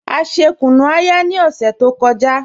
A ṣè kùnú-ayà ni ọṣẹ tó kọ́jà